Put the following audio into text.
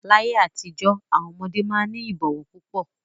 Láyé àtijọ́ àwọn ọmọdé máa ń ní ìbọ̀wọ̀ púpọ̀.